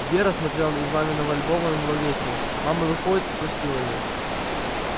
вера смотрела из маминого альбома на него весело мама выходит и простила её